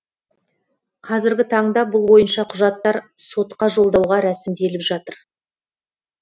қазіргі таңда бұл бойынша құжаттар сотқа жолдауға рәсімделіп жатыр